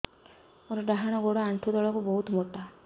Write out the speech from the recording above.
ମୋର ଡାହାଣ ଗୋଡ ଆଣ୍ଠୁ ତଳୁକୁ ବହୁତ ମୋଟା